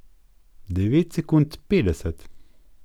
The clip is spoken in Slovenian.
Devet sekund petdeset.